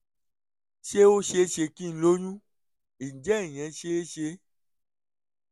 ṣé ó ṣe é ṣe kí n lóyún? ǹjẹ́ ìyẹn ṣe é ṣe?